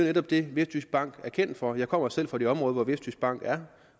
netop det vestjyskbank er kendt for jeg kommer selv fra det område hvor vestjyskbank er